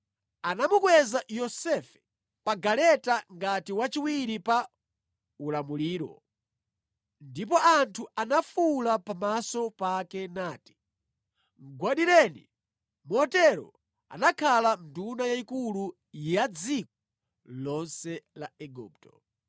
Anamukweza Yosefe pa galeta ngati wachiwiri pa ulamuliro. Ndipo anthu anafuwula pamaso pake nati, “Mʼgwadireni!” Motero anakhala nduna yayikulu ya dziko lonse la Igupto.